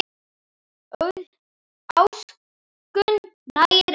Ásökun nægir ekki.